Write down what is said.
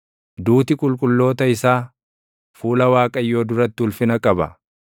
Duuti qulqulloota isaa, fuula Waaqayyoo duratti ulfina qaba.